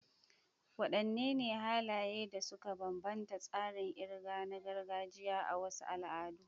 Wadanne halaye ne suka bambanta tsarin kirga na gargajiya a wasu al'adu?